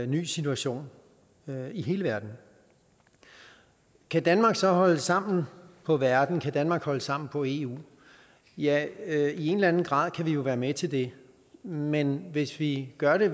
ny situation i hele verden kan danmark så holde sammen på verden kan danmark holde sammen på eu ja ja i en eller anden grad kan vi jo være med til det men hvis vi gør det